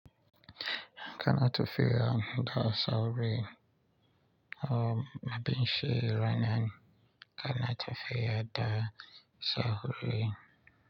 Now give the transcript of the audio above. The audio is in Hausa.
Kana ta fiya da sauri, amma binshi rainan kana ta fiya da sauri?